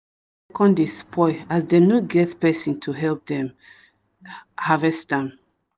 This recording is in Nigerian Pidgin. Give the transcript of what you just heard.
come dey spoil as them no get person to help them harvest am